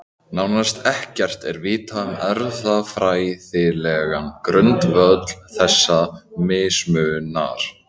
Nánast ekkert er vitað um erfðafræðilegan grundvöll þessa mismunar.